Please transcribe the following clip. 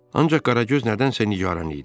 Ancaq Qaragöz nədənsə nigaran idi.